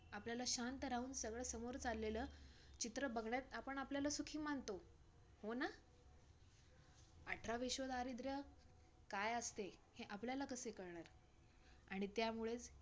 आपल्याला शांत राहून सगळं समोर चाललेलं चित्र बघण्यात, आपण आपल्याला सुखी मानतो. हो न? अठरा विश्व दारिद्र्य काय असते? हे आपल्याला कसे कळणार आणि त्यामुळेच,